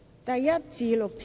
第1至6條。